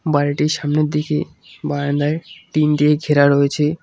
বাড়িটির সামনের দিকে বারান্দায় টিন দিয়ে ঘেরা রয়েছে।